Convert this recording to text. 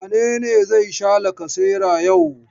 Wane ne zai sha lacasera yau?